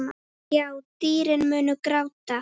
Já, dýrin munu gráta.